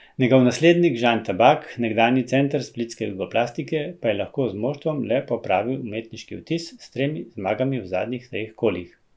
Njegov naslednik Žan Tabak, nekdanji center splitske Jugoplastike, pa je lahko z moštvom le popravil umetniški vtis s tremi zmagami v zadnjih treh kolih.